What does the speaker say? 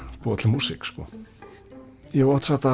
búa til músík ég hef oft sagt að